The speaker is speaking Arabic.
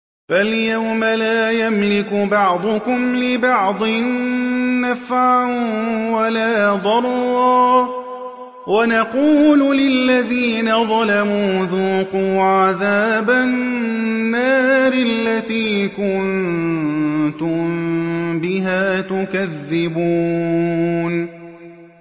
فَالْيَوْمَ لَا يَمْلِكُ بَعْضُكُمْ لِبَعْضٍ نَّفْعًا وَلَا ضَرًّا وَنَقُولُ لِلَّذِينَ ظَلَمُوا ذُوقُوا عَذَابَ النَّارِ الَّتِي كُنتُم بِهَا تُكَذِّبُونَ